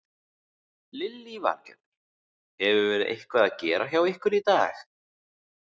Lillý Valgerður: Hefur verið eitthvað að gera hjá ykkur í dag?